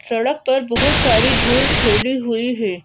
सड़क पर बहुत सारी धूल फैली हुई है।